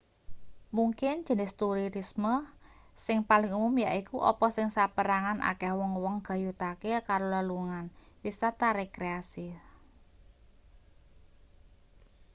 mungkin jenis turisme sing paling umum yaiku apa sing saperangan akeh wong-wong gayutake karo lelungan wisata rekreasi